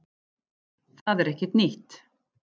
Það er ekkert nýtt